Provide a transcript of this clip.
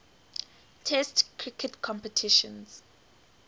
test cricket competitions